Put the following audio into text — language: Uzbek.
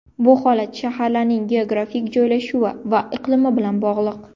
Bu holat shaharlarning geografik joylashuvi va iqlimi bilan bog‘liq.